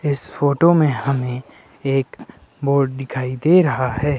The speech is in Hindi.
इस फोटो में हमें एक बोर्ड दिखाई दे रहा है।